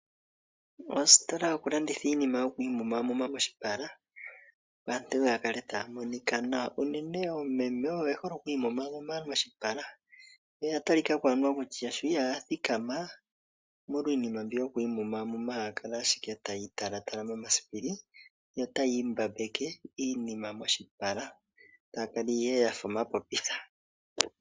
Ositola yokulanditha iinima yoku imumamuma moshipala, opo aantu ya kale taya monika nawa. Uunene oomeme oye hole oku imumamuma moshipala, yo oya talikako anuwa kutya sho ihaya thikama omolwa iinima mbyoka yoku imumamuma haya kala ashike taya italatala momasipili, yo taya imbambeke iinima moshipala. Taya kala ihe yafa omapopitha.